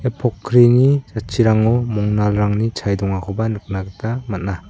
ia pokkrini jatchirango mongnalrangni chae dongakoba nikna gita man·a.